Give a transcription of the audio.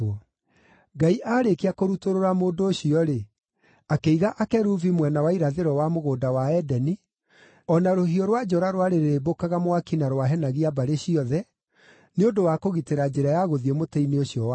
Ngai aarĩkia kũrutũrũra mũndũ ũcio-rĩ, akĩiga akerubi mwena wa irathĩro wa Mũgũnda wa Edeni, o na rũhiũ rwa njora rwarĩrĩmbũkaga mwaki na rwahenagia mbarĩ ciothe, nĩ ũndũ wa kũgitĩra njĩra ya gũthiĩ mũtĩ-inĩ ũcio wa muoyo.